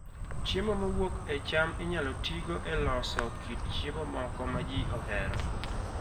Chiemo mowuok e cham inyalo tigo e loso kit chiemo moko ma ji ohero